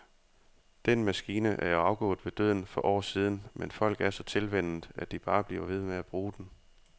Den maskine er jo afgået ved døden for år siden, men folk er så tilvænnet, at de bare bliver ved med at bruge den.